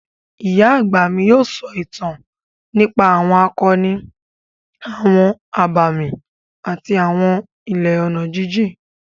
Ìyá àgbà mi yóò sọ ìtàn nípa àwọn akọni, àwọn abàmì àti àwọn ilẹ̀ ọ̀nà jíjìn.